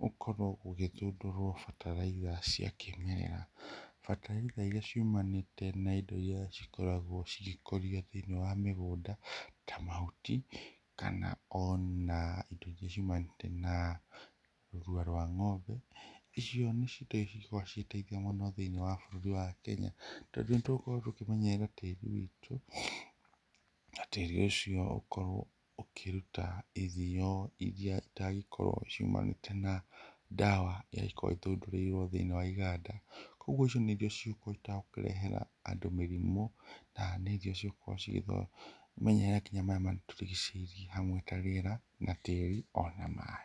gũkorwo gũgĩthundũrwo bataraitha cia kĩmerera, bataraitha irĩa ciumanĩte na ĩndo iria cikoragwo cigĩkũrio thĩiniĩ wa mĩgũnda ta mahuti, kana ona ĩndo ingĩ ciumanĩte na thumu wa ng'ombe icio no cikorwo cigĩteithia mũno thĩiniĩ wa bũrũri wa Kenya, tondũ nĩ tũgũkorwo tũkĩmenyerera tĩri witũ, na tĩri ũcio ũkorwo ũkĩruta irio iria itangĩkorwo ciumanĩte na ndawa ĩria ĩkoragwo ĩthundũrĩirwo thĩiniĩ wa ĩganda. Koguo icio nĩ irio citangihota gũkĩrehera andũ mĩrimũ na nĩ irio cigũkorwo cikĩmenyerera nginya marĩa matũrigicĩirie hamwe ta riera na tĩri ona maĩ.